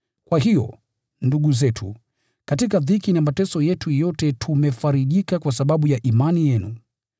Kwa hiyo, ndugu zetu, katika dhiki na mateso yetu yote tumefarijika kwa sababu ya imani yenu.